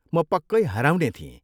म पक्कै हराउने थिएँ।